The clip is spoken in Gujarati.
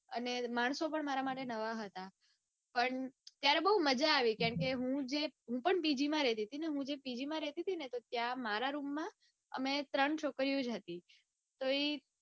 અને માણસો પણ મારા માટે નવા હતા. પણ ત્યારે બઉ મજા આવી. કારણકે હું પણપીજી માં રેતી ટી હું જે પીજીમાં રેતી તી ને ત્યાં મારા room માં અમે ત્રણ છોકરીઓ જ હતી. તો ઈ